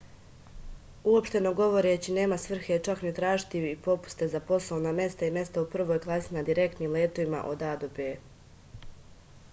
uopšteno govoreći nema svrhe čak ni tražiti popuste za poslovna mesta i mesta u prvoj klasi na direktnim letovima od a do b